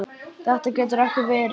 Þetta getur ekki verið!